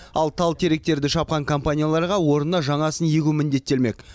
ал тал теректерді шапқан компанияларға орнына жаңасын егу міндеттелмек